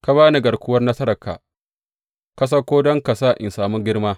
Ka ba ni garkuwar nasararka; ka sauko don ka sa in sami girma.